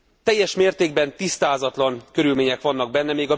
Teljes mértékben tisztázatlan körülmények vannak benne.